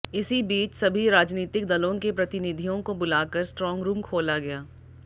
इसी बीच सभी राजनीतिक दलों के प्रतिनिधियों को बुलाकर स्ट्रांग रूम खोला गया